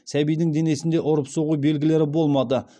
сәбидің денесінде ұрып соғу белгілері болмады